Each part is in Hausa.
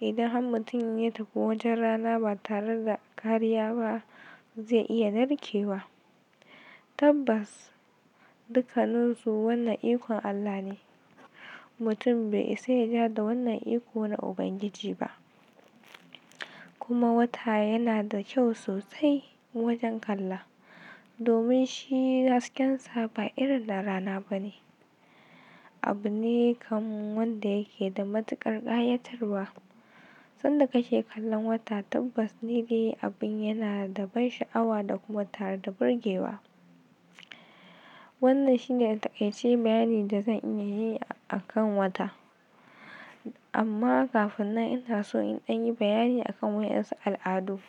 Idan har mutum ya tafi wajen rana ba tare da kariya ba zai iya narkewa. Tabbas! Dukkaninsu wannan ikon Allah ne. Mutum bai iya ja da wannan iko na Ubangiji ba. Kuma wata yana da kyau sosai wajen kalla. Domin shi hasken sa ba irin na rana bane. Abune kamar wanda yake da matuƙar ƙayatarwa. Sanda ka ke kallon wata tabbas ni dai abin yana da ban sha'awa da kuma tare da burge wa. Wannan shine taƙaice bayani da zan iya yi akan wata. Amma kafin nan ina so in ɗan yi bayani a kan waɗansu al'adu.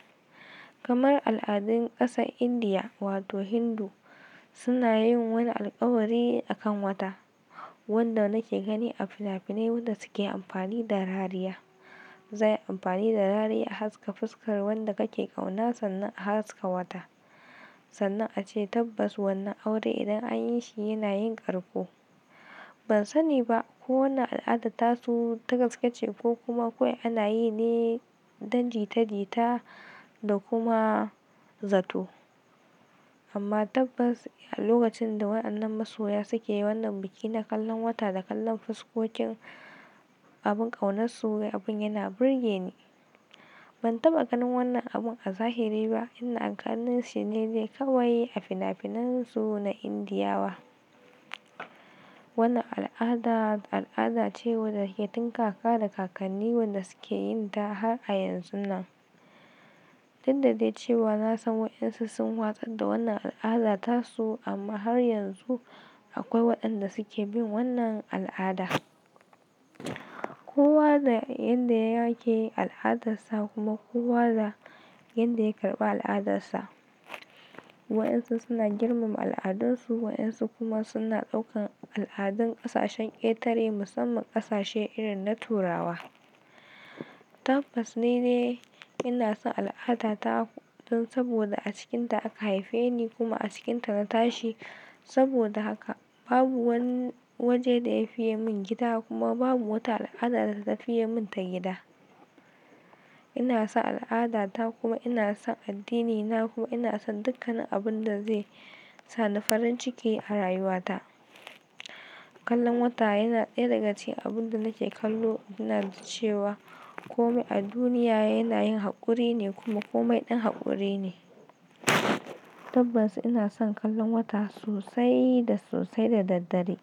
Kamar al'adun ƙasar Indiya wato Hindu, suna yin wani alkawari akan wata. Wanda nake gani a finafinai wanda suke amfani da rariya. Zai yi amfani da rariya a haska fuskar wanda kake kauna sannan a haska wata. Sannan ace tabbas wannan aure idan an yi shi yana yin ƙarko. Ban sani ba ko wannan al'ada tasu ta gaske ce ko kuma kawai ana yi ne don jita jita da kuma zato. Amma tabbas a lokacin da waɗannan masoya suke yi wannan biki na kallon wata da kallon fuskokin abin ƙaunarsu abin yana burge ni. Ban taɓa ganin wannan abun a zahiri ba in a kallon shi ne zai kawai yi a finafinan su na Indiya wa. Wannan al'ada, al'ada ce wadda ke tun kaka da kakanni wanda suke yin ta har a yanzunnan. Duk dade cewa na san waɗansu sun watsar da wannan al'ada tasu amma har yanzu akwai waɗanda suke bin wannan al'ada. Kowa da yadda ya yake al'adarsa kuma kowa da yadda ya karɓi al'adarsa. Waɗansu suna girmama al'adunsu waɗansu kuma suna ɗaukan al'adun ƙasashen ƙetare musamman ƙasashe irin na Turawa. Tabbas ni dai ina son al'ada ta don saboda a cikinta aka haife ni kuma a cikinta na tashi. Saboda haka babu wani waje da ya fiye mun gida kuma babu wata al'ada da ta fiye mun ta gida. Ina son al'ada ta kuma ina son addinina kuma ina son dukkanin abunda zai sani farin ciki a rayuwata. Kallon wata yana daya daga cikin abunda nake kallo ina cewa kowa a duniya yanayin hakurine kuma komai dan hakurine. Tabbas inason kallon wata sosai da sosai da daddare.